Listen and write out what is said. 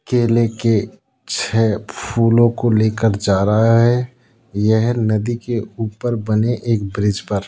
केले के छह फूलों को लेकर जा रहा है यह नदी के ऊपर बने एक ब्रिज पर।